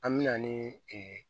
An me na ni ee